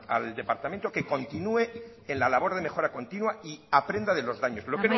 al departamento a que continúe en la labor de mejora continua y aprenda de los daños amaitzen joan